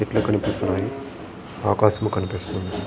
చెట్లు కనిపిస్తున్నవి ఆకాశము కనిపిస్తుంది.